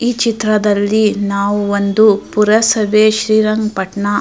ಈ ಚಿತ್ರದಲ್ಲಿ ನಾವು ಒಂದು ಪೂರ ಸಭೆ ಶ್ರೀರಂಗ ಪಟ್ನಾ --